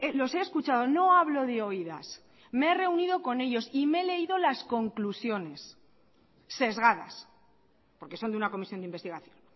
los he escuchado no hablo de oídas me he reunido con ellos y me he leído las conclusiones sesgadas porque son de una comisión de investigación